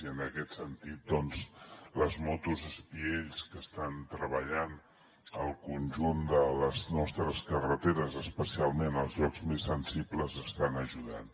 i en aquest sentit les motos espiells que estan treballant al conjunt de les nostres carreteres especialment als llocs més sensibles hi estan ajudant